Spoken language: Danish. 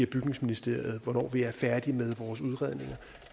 bygningsministeriet er færdigt med vores udredninger